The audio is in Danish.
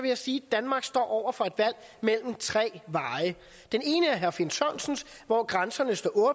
jeg sige at danmark står over for et valg mellem tre veje den ene er herre finn sørensens hvor grænserne står